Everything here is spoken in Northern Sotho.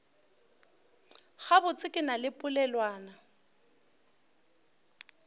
gabotse ke na le polelwana